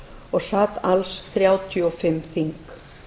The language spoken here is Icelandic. og sat alls þrjátíu og fimm þing